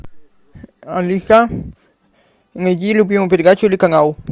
алиса найди любимую передачу или канал